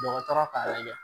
Dɔgɔtɔrɔ k'a lajɛ